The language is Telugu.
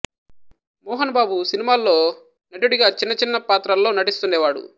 మోహన్ బాబు సినిమాల్లో నటుడిగా చిన్న చిన్న పాత్రల్లో నటిస్తుండేవాడు